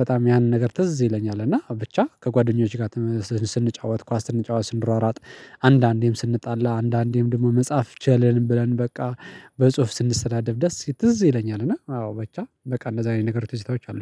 በጣም ያንን ነገር ትዝ ይለኛል። እና ብቻ ከጓደኞቼ ጋር ስንጫወት ኳስ ስንጫወት ስንሯሯጥ። አንዳንዴም ስንጣላ አንዳንዴም ደግሞ መጽሐፍ ቻልን ብለን በቃ በጽሁፍ ስንሰዳደብ ደስ ትዝ ይለኛል። እና አዎ ብቻ በቃ እንደዛ አይነት ነገሮች ትዝታዎች አሉኝ